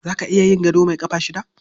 Za ka iya yin gado mai ƙafa shida?